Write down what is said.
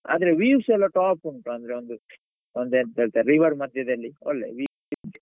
ಆದ್ರೆ views ಎಲ್ಲಾ top ಉಂಟು ಅಂದ್ರೆ ಒಂದು ಒಂದು ಎಂತ ಹೇಳ್ತಾರೆ river ಮಧ್ಯದಲ್ಲಿ ಒಳ್ಳೆ view ಉಂಟು.